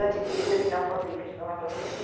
Antes disso, ele não fabrica espermatozoides.